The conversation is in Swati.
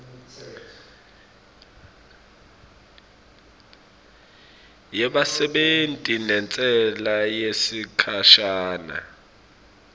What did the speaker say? yebasebenti nentsela yesikhashana